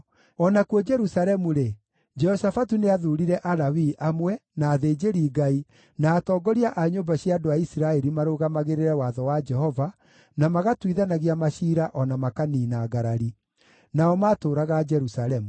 O nakuo Jerusalemu-rĩ, Jehoshafatu nĩathuurire Alawii amwe, na athĩnjĩri-Ngai, na atongoria a nyũmba cia andũ a Isiraeli marũgamagĩrĩre watho wa Jehova, na magatuithanagia maciira o na makaniina ngarari. Nao maatũũraga Jerusalemu.